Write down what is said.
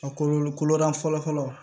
A kɔlɔlɔ kolo dan fɔlɔ fɔlɔ